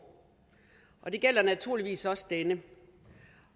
det gælder naturligvis også denne